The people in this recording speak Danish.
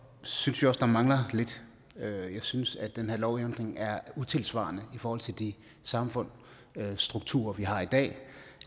synes vi også der mangler lidt jeg synes at den her lovændring er utidssvarende i forhold til de samfundsstrukturer vi har i dag